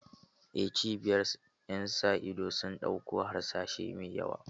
Eh, cibiyar ƴan sa ido sun ɗauku harsashai mai yawa.